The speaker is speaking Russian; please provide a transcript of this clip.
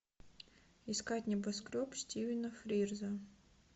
искать небоскреб стивена фрирза